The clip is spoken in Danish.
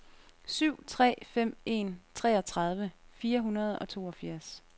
syv tre fem en treogtredive fire hundrede og toogfirs